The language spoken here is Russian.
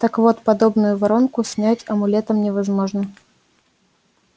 так вот подобную воронку снять амулетом невозможно